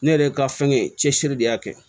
Ne yɛrɛ ka fɛnkɛ cɛsiri de y'a kɛ